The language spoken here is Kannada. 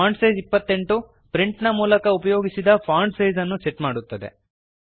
ಫಾಂಟ್ಸೈಜ್ 28 ಪ್ರಿಂಟಿನ ಮೂಲಕ ಉಪಯೋಗಿಸಿದ ಫಾಂಟ್ ಸೈಜ್ ಅನ್ನು ಸೆಟ್ ಮಾಡುತ್ತದೆ